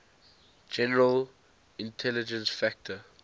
general intelligence factor